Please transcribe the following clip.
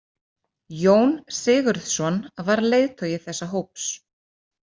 Jón Sigurðsson var leiðtogi þessa hóps.